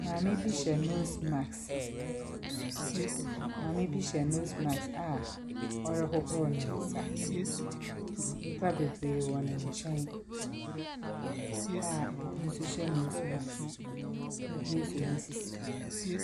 Maame bi hyɛ nose mask maame bi hyɛ nose mask a ɔrehohoro ne nsa. Nnipa bebree wɔ ne nkyɛn a ebi nso hyɛ nose mask, na obi asɔ ne sisi.